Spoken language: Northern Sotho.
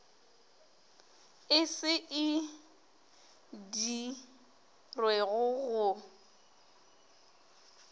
e se e dirwego go